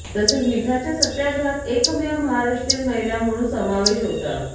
तसेच मिठाच्या सत्याग्रहात एकमेव महाराष्ट्रीयन महिला म्हणून समावेश होता